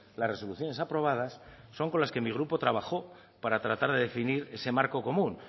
las resoluciones aprobadas son con las que mi grupo trabajó para tratar de definir ese marco común